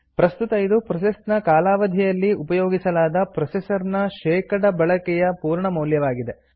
ಪ್ರಸ್ತುತ ಇದು ಪ್ರೋಸೆಸ್ ನ ಕಾಲಾವಧಿಯಲ್ಲಿ ಉಪಯೋಗಿಸಲಾದ ಪ್ರೊಸೆಸರ್ ನ ಶೇಕಡ ಬಳಕೆಯ ಪೂರ್ಣಮೌಲ್ಯವಾಗಿದೆ